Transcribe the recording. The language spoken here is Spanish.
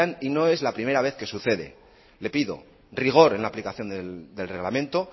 y no es la primera vez que sucede le pido rigor en la aplicación del reglamento